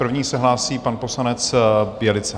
První se hlásí pan poslanec Bělica.